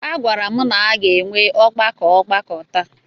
A gwara m na a ga-enwe ọgbakọ ọgbakọ taa.